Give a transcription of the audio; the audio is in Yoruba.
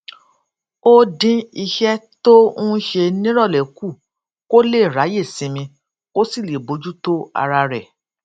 ó dín iṣé tó ń ṣe níròlé kù kó lè ráyè sinmi kó sì lè bójú tó ara rè